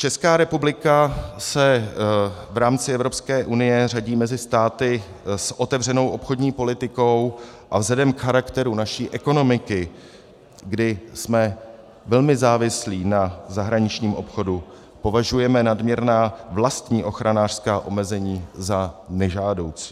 Česká republika se v rámci Evropské unie řadí mezi státy s otevřenou obchodní politikou a vzhledem k charakteru naší ekonomiky, kdy jsme velmi závislí na zahraničním obchodu, považujeme nadměrná vlastní ochranářská omezení za nežádoucí.